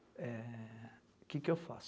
É... O que que eu faço?